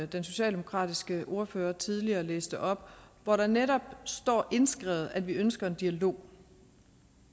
den socialdemokratiske ordfører tidligere læste op hvor der netop står indskrevet at vi ønsker en dialog